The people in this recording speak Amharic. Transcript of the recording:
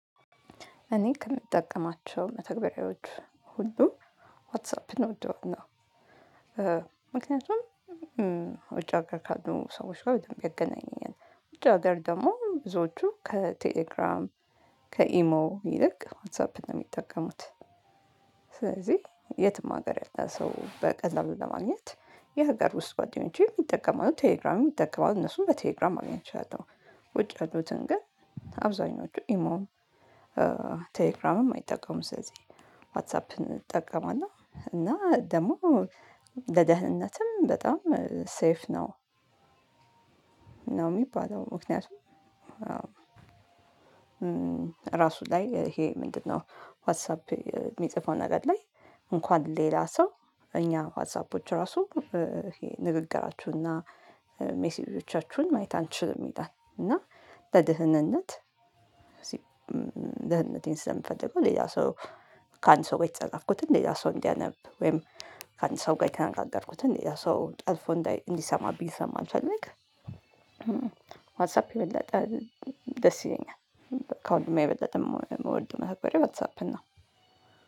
እኔ ከምጠቀማቸው መተግበሪያዎች ሁሉ ዋትሳፕድ እወደዋለው። ምክንያቱም ውጭ ሀገር ካሉ ሰዎች ጋር በደንብ እንገናኛለን። ውጭ ሀገር ደግሞ ብዙዎቹ ከቴሌግራም፤ ከኢሞ ይልቅ ዋትሳፕን ነው የሚጠቀሙት። ስለዚህ የትም ሀገር ያለ ሰው በቀላሉ ለማግኘት የሀገር ውስጥ ጓደኞቼ ይጠቀማሉ ቴሌግራም የሚጠቀማሉ እነሱን በቴሌግራም ማግኘት እችላለሁ። ውጪ ያሉትን ግን አብዛኞቹ ኢሞም፤ ቴሌግራምም አይጠቀሙም ስለዚህ ዋትሳፕን እንጠቀማና እና ደግሞ ለደህንነትም በጣም ሰይፍ ነው። ነው የሚባለው ምክንያቱም አዎ ራሱ ላይ ይሄ ምንድነው ዋትሳፕ የሚጽፈው ነገር ላይ እንኳን ሌላ ሰው እኛ ዋትሳፖች ራሱ ንግግራችሁንና ሜሴጆቻችሁን ማየት አንችልም ይላል እና ለድህነት ድህነቴን ስለምፈልገው ሌላ ሰው ከአንድ ሰው ጋር የተጸጋፍኩትን ሌላ ሰው እንዲያነብ ወይም ከአንድ ሰው ጋር የተከናገርኩትን ሌላ ሰው ጠልፎ እንዲሰማብኝ ስለማልፈልግ ዋትሳፕ የበለጠ ደስ ይለኛል። ከሁሉም የበለጠ የምወደው መተግበሪያ ዋትሳፕን ነው።